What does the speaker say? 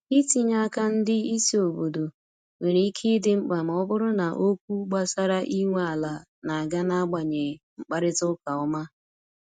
itinye aka ndị isi obodo nwere ike idi mkpa ma ọ bụrụ na okwu gbasara inwe ala n'aga na agbanyeghị mkparịta ụka ọma